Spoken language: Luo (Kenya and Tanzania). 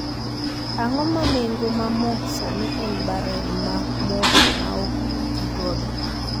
Ang�o ma nengo ma mo sani en barel ma mo ma ok otigodo?